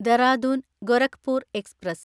Dehradun Gorakhpur express